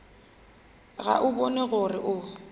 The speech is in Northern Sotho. ga o bone gore o